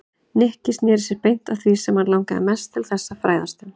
Nikki snéri sér beint að því sem hann langaði mest til þess að fræðast um.